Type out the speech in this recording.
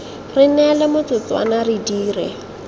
re neele metsotswana re dire